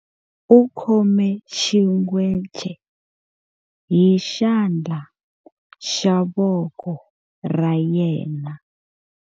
U khome xingwece hi xandla xa voko ra yena.